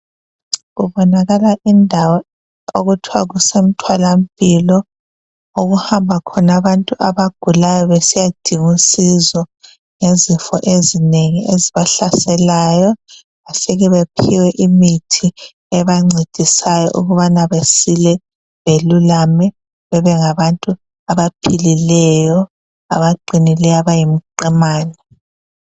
Kubonakala indawo okuthiwa kusemtholampilo okuhamba khona abantu abagulayo besiyadinga usizo ngezifo ezinengi ezibahlaselayo bafike bephiwe imithi ebancedisayo ukubana besile belulame bengabantu abaphilileyo abaqinileyo abayimqimane.